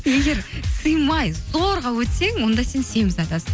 егер сыймай зорға өтсең онда сен семіз адамсың